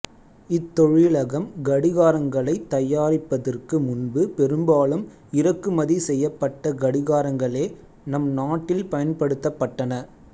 இத்தொழிலகம் கடிகாரங்களைத் தயாரிப்பதற்கு முன்பு பெரும்பாலும் இறக்குமதி செய்யப்பட்ட கடிகாரங்களே நம் நாட்டில் பயன்படுத்தப் பட்டன